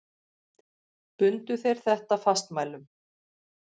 Bundu þeir þetta fastmælum.